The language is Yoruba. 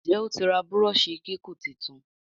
Nje otí rà Búrọ́ọ̀ṣì kíkún títún?